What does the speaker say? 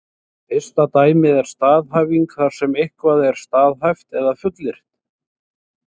Fyrsta dæmið er staðhæfing þar sem eitthvað er staðhæft eða fullyrt.